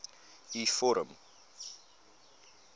u vorm